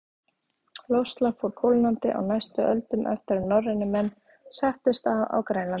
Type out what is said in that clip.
Loftslag fór kólnandi á næstu öldum eftir að norrænir menn settust að á Grænlandi.